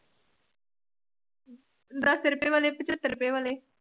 ਦੱਸ ਰੁਪਏ ਵਾਲੇ ਪਚੱਤਰ ਰੁਪਏ ਵਾਲੇ।